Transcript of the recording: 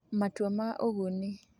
Matua ma Ũguni: